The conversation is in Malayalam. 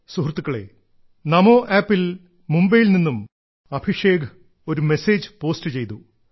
സുഹൃത്തുക്കളേ നമോ ആപ്പിൽ മുംബൈയിൽ നിന്നും അഭിഷേക് ഒരു മെസേജ് പോസ്റ്റ് ചെയ്തു